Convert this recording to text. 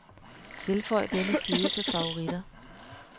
Tilføj denne side til favoritter.